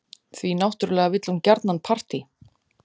Því náttúrlega vill hún gjarnan partí.